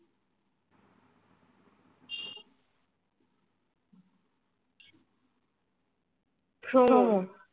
শোনো না